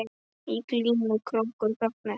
Í glímu krókur gagnast mér.